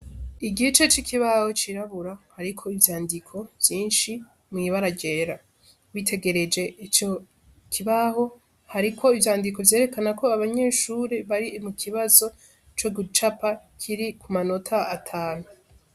Igice c'ikibaho cirabura hariko ivyandiko vyinshi mwibara rera witegereje ico kibaho hariko ivyandiko vyerekana ko abanyeshure bari mu kibazo co gucapa kiri ku manota atanu.